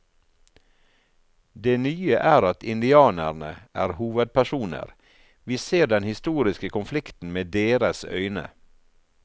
Det nye er at indianerne er hovedpersoner, vi ser den historiske konflikten med deres øyne.